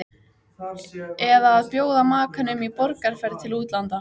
Eða að bjóða makanum í borgarferð til útlanda.